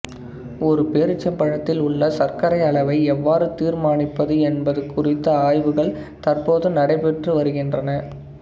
ஒரு பேரீச்சம்பழத்தில் உள்ள சர்க்கரை அளவை எவ்வாறு தீர்மானிப்பது என்பது குறித்த ஆய்வுகள் தற்போது நடைபெற்று வருகின்றன